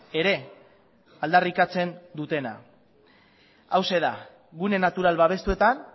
ere aldarrikatzen dutena hauxe da gune natural babestuetan